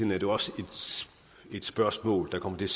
jo også et spørgsmål der kommer til